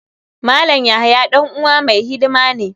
Malam yahaya dan uwa mai hidima ne.